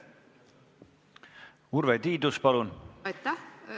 Urve Tiidus, palun!